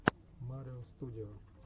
марио студио